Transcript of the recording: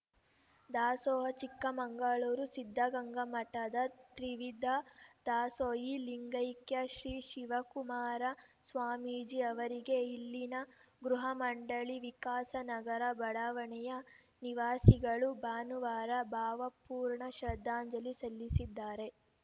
ದಾಸೋಹ ಚಿಕ್ಕಮಂಗಳೂರು ಸಿದ್ಧಗಂಗಾ ಮಠದ ತಿವಿಧ ದಾಸೋಹಿ ಲಿಂಗೈಕ್ಯ ಶ್ರೀ ಶಿವಕುಮಾರ ಸ್ವಾಮೀಜಿ ಅವರಿಗೆ ಇಲ್ಲಿನ ಗೃಹ ಮಂಡಳಿ ವಿಕಾಸ ನಗರ ಬಡಾವಣೆಯ ನಿವಾಸಿಗಳು ಭಾನುವಾರ ಭಾವಪೂರ್ಣ ಶ್ರದ್ಧಾಂಜಲಿ ಸಲ್ಲಿಸಿದರು